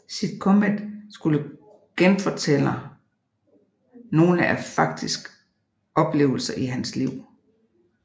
Sitcommet skulle genfortæller nogle af faktisk oplevelser i hans liv